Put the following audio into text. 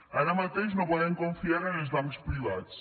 ara mateix no podem confiar en els bancs privats